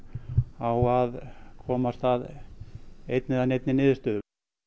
á að komast að einni eða neinni niðurstöðu